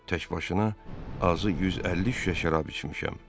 Tək başına azı 150 şüşə şərab içmişəm.